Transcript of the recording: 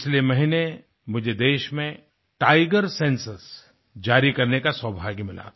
पिछले महीने मुझे देश में टाइगर सेंसस जारी करने का सौभाग्य मिला था